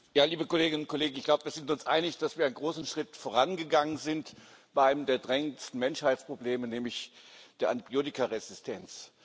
Herr Präsident, liebe Kolleginnen und Kollegen! Ich glaube, wir sind uns einig, dass wir einen großen Schritt vorangegangen sind bei einem der drängendsten Menschheitsprobleme, nämlich der Antibiotikaresistenz.